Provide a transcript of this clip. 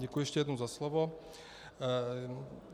Děkuji ještě jednou za slovo.